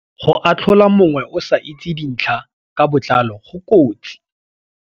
Go atlhola mongwe o sa itse dintlha ka botlalo go kotsi.